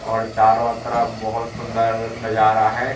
और चारों तरफ बहोत सुंदर नजारा है।